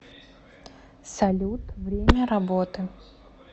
салют время работы